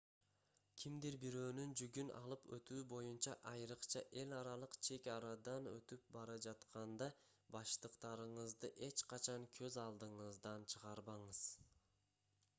кимдир-бирөөнүн жүгүн алып өтүү боюнча айрыкча эл аралык чек арадан өтүп бара жатканда баштыктарыңызды эч качан көз алдыңыздан чыгарбаңыз